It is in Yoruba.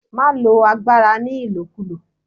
Má lo agbára ni ìlòkulò!